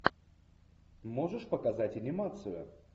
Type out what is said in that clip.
можешь показать анимацию